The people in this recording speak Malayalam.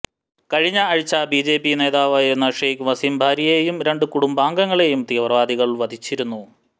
കഴിഞ്ഞ ആഴ്ച ബിജെപി നേതാവായിരുന്ന ഷെയ്ഖ് വസീം ബാരിയെയെയും രണ്ട് കുടുംബാംഗങ്ങളെയും തീവ്രവാദികൾ വധിച്ചിരുന്നു